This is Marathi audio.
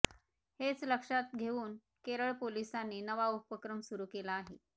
हेच लक्षात घेऊन केरळ पोलिसांनी नवा उपक्रम सुरू केला आहे